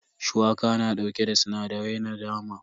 Shuwaka na dauke da sinadarai da dama.